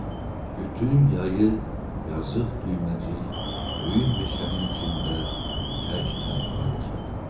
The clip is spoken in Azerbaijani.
Bütün yayı yazıq Düyməcik böyük meşənin içində tək-tənha yaşadı.